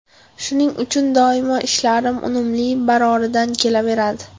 Shuning uchun doimo ishlarim unumli, baroridan kelaveradi.